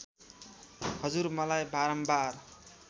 हजुर मलाई बारम्बार